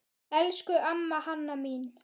Elsku amma Hanna mín.